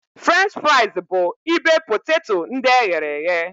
French fraịz bụ ibe poteto ndị eghere eghe.